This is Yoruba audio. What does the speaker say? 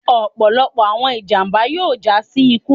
ọpọlọpọ awọn ijamba yoo ja si iku